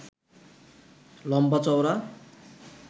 লম্বা চওড়া